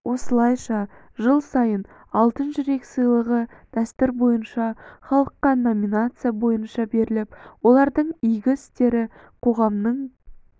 осылайша жыл сайын алтын жүрек сыйлығы дәстүр бойынша халыққа номинация бойынша беріліп олардың игі істері қоғамның